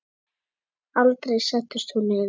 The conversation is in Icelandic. Aldrei settist hún niður.